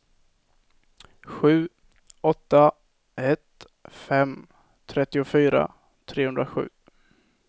sju åtta ett fem trettiofyra trehundrasju